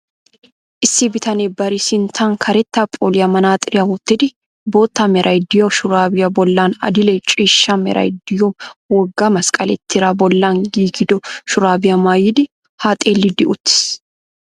Issi bitanee bari sinttan karetta phooliya manaaxxiriya wottidi botta meray de'iyo shuraabiua bollan adil''e ciishsha meray de'iyo wogga masqqalee tiraa bollan giigido shuraabiya maayidi haa xeellidi uttiis.